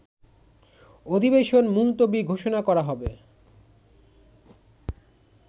অধিবেশন মুলতবি ঘোষণা করা হবে